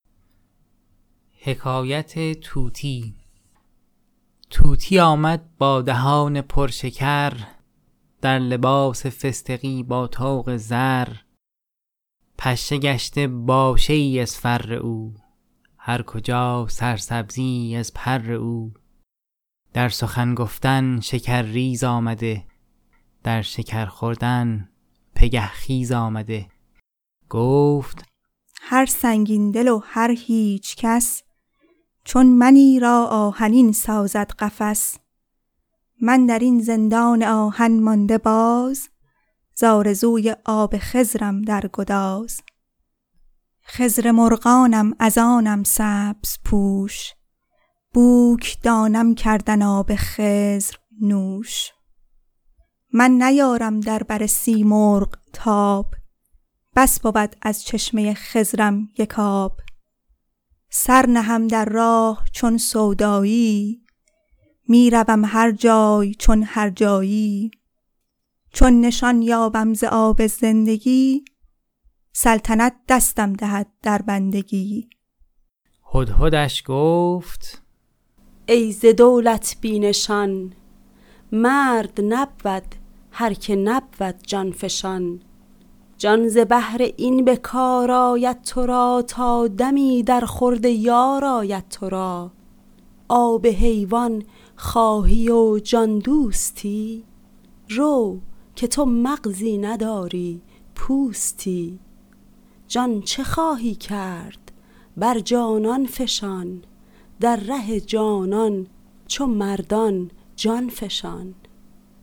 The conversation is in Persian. طوطی آمد با دهان پر شکر در لباس فستقی با طوق زر پشه گشته باشه ای از فر او هر کجا سرسبزیی از پر او در سخن گفتن شکرریز آمده در شکر خوردن پگه خیز آمده گفت هر سنگین دل و هر هیچ کس چون منی را آهنین سازد قفس من در این زندان آهن مانده باز زآرزوی آب خضرم در گداز خضر مرغانم از آنم سبزپوش بوک دانم کردن آب خضر نوش من نیارم در بر سیمرغ تاب بس بود از چشمه خضرم یک آب سر نهم در راه چون سوداییی می روم هر جای چون هر جاییی چون نشان یابم ز آب زندگی سلطنت دستم دهد در بندگی هدهدش گفت ای ز دولت بی نشان مرد نبود هرک نبود جان فشان جان ز بهر این به کار آید تو را تا دمی در خورد یار آید تو را آب حیوان خواهی و جان دوستی رو که تو مغزی نداری پوستی جان چه خواهی کرد بر جانان فشان در ره جانان چو مردان جان فشان